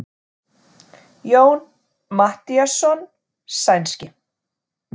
Jón Matthíasson sænski.